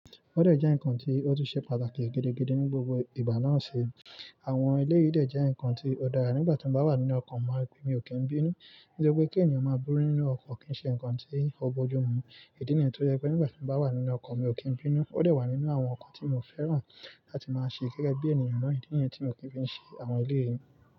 Ó dẹ̀ jẹ́ ǹkan tí ó tún ṣe pàtàkì gidi gidi ní gbogbo ìgbà náà ṣe. Àwọn ilé yìí dẹ̀ jẹ́ ǹkan tí ó dára nígbà tí mo bá wà nínú ọkọ̀ máa, mí ò kí n bínú. Nítorí pé kí ènìyàn máa búrú nínú ọkọ̀ kì í ṣe ǹkan tí ó bojú mu. Ìdí nìyẹn tó jẹ́ pé nígbà tí mo bá wà nínú ọkọ̀ mi ò kí n bínú. Ó dẹ̀ wà nínú àwọn ǹkan tí mo fẹ́ràn láti máa ṣe gẹ́gẹ́ bí ènìyàn náà. Ìdí nìyẹn tí mo kì í fi ṣe àwọn lé yi.